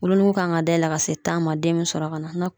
Wolonugu kan ka dayɛlɛn ka se tan ma den min sɔrɔ ka na.